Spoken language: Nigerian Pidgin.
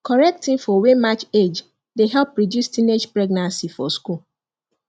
correct info wey match age dey help reduce teenage pregnancy for school